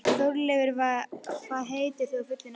Þórleifur, hvað heitir þú fullu nafni?